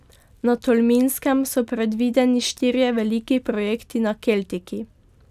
Na Tolminskem so predvideni štirje veliki projekti na keltiki.